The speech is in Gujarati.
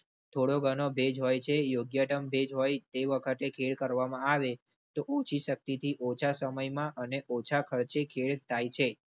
થોડો ઘણો ભેજ હોય છે. યોગ્ય દમ ભેજ હોય તે વખતે ખેડ કરવામાં આવે તો ઓછી શક્તિથી ઓછા સમયમાં અને ઓછા ખર્ચે ખેડ થાય છે.